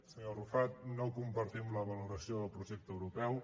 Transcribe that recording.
senyor arrufat no compartim la valoració del projecte europeu